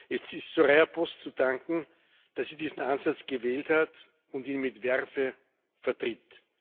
Es ist Soraya Post zu danken, dass sie diesen Ansatz gewählt hat und ihn mit Verve vertritt.